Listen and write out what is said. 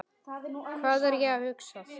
Hvað er ég að hugsa?